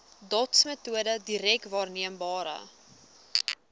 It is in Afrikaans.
dotsmetode direk waarneembare